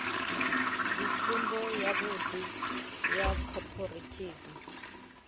ndi tsumbo yavhuḓi ya khophorethivi